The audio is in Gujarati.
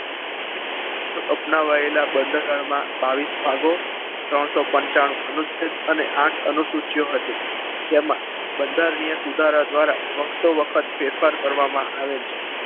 અપનાવાયેલા બંધારણમાં બાવીસ ભાગો અને ત્રણ ત્રણસો પંચાણું અનુચ્છેદ અને આઠ અનુસૂચિઓ હતી જેમાં બંધારણીય નિયમ સુધારા દ્વારા વખત તો વખત ફેરફાર કરવામાં આવેલ છે.